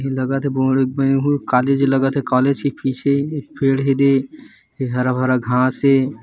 लगत हे कोलेज लगत हे कालेज के पीछे पेड हे हारा भरा घास हे।